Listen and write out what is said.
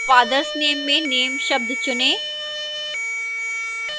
fathers name में name शब्द चुनें